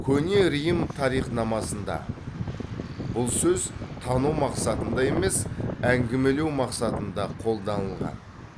көне рим тарихнамасында бұл сөз тану мақсатында емес әңгімелеу мақсатында қолданылған